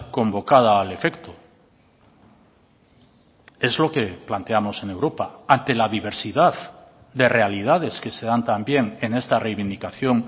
convocada al efecto es lo que planteamos en europa ante la diversidad de realidades que se dan también en esta reivindicación